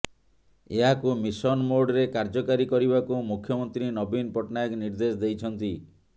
ଏହାକୁ ମିଶନ ମୋଡରେ କାର୍ୟ୍ୟକାରୀ କରିବାକୁ ମୁଖ୍ୟମନ୍ତ୍ରୀ ନବୀନ ପଟ୍ଟନାୟକ ନିର୍ଦ୍ଦେଶ ଦେଇଛନ୍ତି